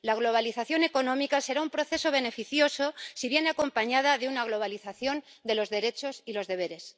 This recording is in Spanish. La globalización económica será un proceso beneficioso si viene acompañada de una globalización de los derechos y los deberes.